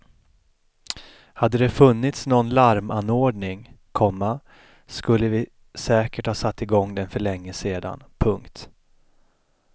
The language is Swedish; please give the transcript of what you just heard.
Hade det funnits nån larmanordning, komma skulle vi säkert ha satt igång den för länge sedan. punkt